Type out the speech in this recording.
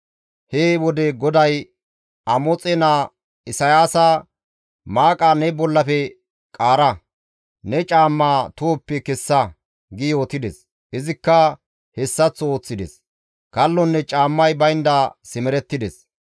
he wode GODAY Amoxe naa Isayaasa, «Maaqa ne bollafe qaara; ne caammaa tohoppe kessa» gi yootides; izikka hessaththo ooththides; kallonne caammay baynda simerettides.